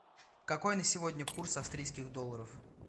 какой на сегодня курс австрийских долларов